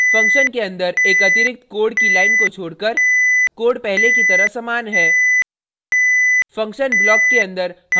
function के अंदर एक अतिरिक्त code की line को छोड़कर code पहले की तरह समान है